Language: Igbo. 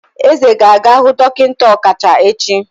Eze ga-aga hu dokinta okacha echi.